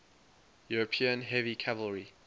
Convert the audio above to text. european heavy cavalry